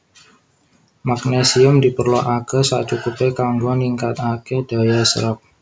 Magnesium diperlokaké sacukupé kanggo ningkataké daya serep